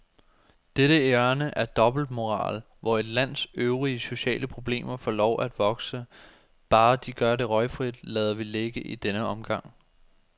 Dette hjørne af dobbeltmoral, hvor et lands øvrige sociale problemer får lov at vokse, bare de gør det røgfrit, lader vi ligge i denne omgang.